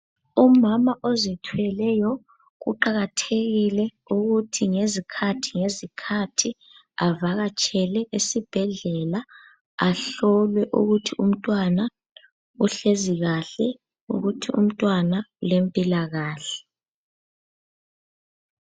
Umama ozithweleyo kuqakathekile ukuthi ngezikhathi ngezikhathi avakatshele esibhedlela ahlolwe ukuthi umntwana uhlezi kahle, ukuthi umntwana ulempilakahle.